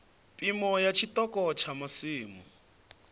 phimo ya tshiṱoko tsha masimu